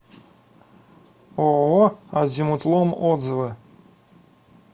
ооо азимутлом отзывы